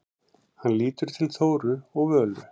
Hann lítur til Þóru og Völu.